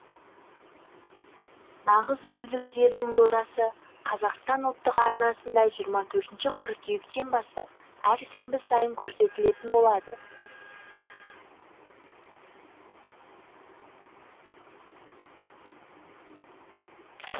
нағыз дүлдүлдердің додасы қазақстан ұлттық арнасында жиырма төртінші қыркүйектен бастап әр сенбі сайын көрсетілетін болады